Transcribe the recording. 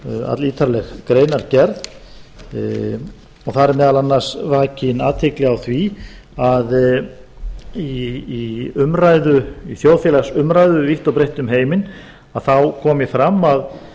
allítarleg greinargerð og þar er meðal annars vakin athygli á því að í þjóðfélagsumræðu vítt og breitt um heiminn þá komi fram